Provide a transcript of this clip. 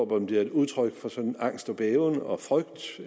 om det er udtryk for sådan angst og bæven og frygt